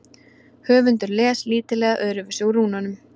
Höfundur les lítillega öðruvísi úr rúnunum.